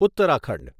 Uttarakhand